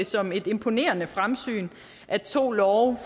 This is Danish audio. som et imponerende fremsyn at to love